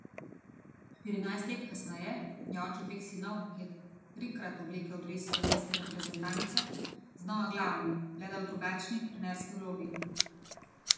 Štirinajst let kasneje je oče dveh sinov, ki je trikrat oblekel dres slovenske reprezentance, znova glavni, le da v drugačni, trenerski vlogi.